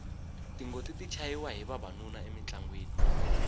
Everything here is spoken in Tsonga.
tingoti ti chayiwa hi vavanuna emintlangwini